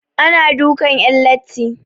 Ana dukan 'yan latti.